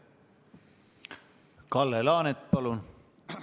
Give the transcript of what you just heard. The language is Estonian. Kalle Laanet, palun!